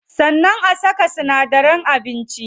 Sannan a saka sinadaran abinci.